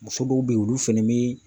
Muso dɔw bɛ ye olu fɛnɛ bi